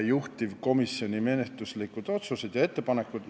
Juhtivkomisjoni menetluslikud otsused ja ettepanekud.